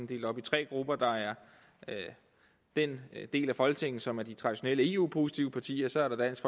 delt op i tre grupper der er den del af folketinget som udgøres af de traditionelt eu positive partier så er der dansk